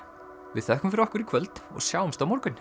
við þökkum fyrir okkur í kvöld og sjáumst á morgun